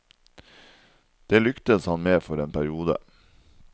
Det lyktes han med for en periode.